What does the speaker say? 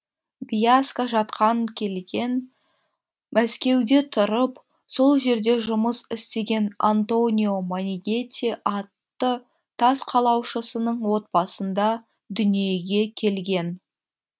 бьяска жатқан келген мәскеуде тұрып сол жерде жұмыс істеген антонио монигети атты тас қалаушысының отбасында дүниеге келген